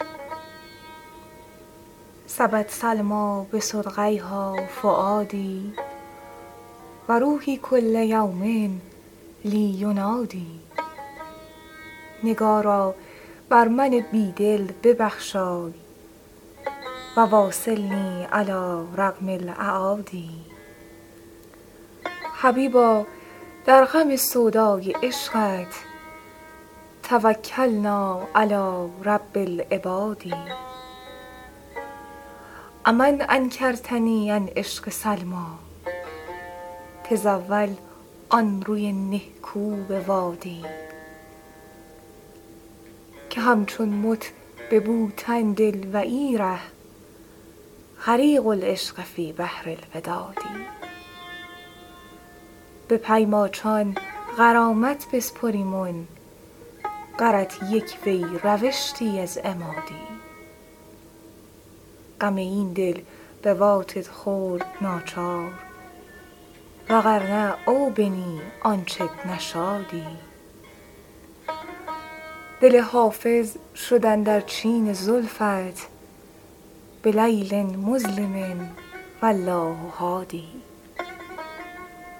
سبت سلمیٰ بصدغیها فؤادي و روحي کل یوم لي ینادی نگارا بر من بی دل ببخشای و واصلني علی رغم الأعادي حبیبا در غم سودای عشقت توکلنا علی رب العباد أ من انکرتني عن عشق سلمیٰ تزاول آن روی نهکو بوادی که همچون مت به بوتن دل و ای ره غریق العشق فی بحر الوداد به پی ماچان غرامت بسپریمن غرت یک وی روشتی از اما دی غم این دل بواتت خورد ناچار و غر نه او بنی آنچت نشادی دل حافظ شد اندر چین زلفت بلیل مظلم و الله هادی